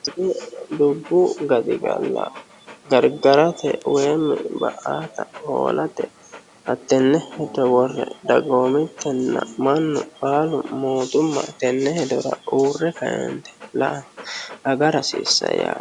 Tini dubbu gaxiggala gariggarate woyimi ba'atta hoolatte hattene hedo worre daggomittena mannu baalu mootumma tene hedora uure kaeniti la'a agara hasisanno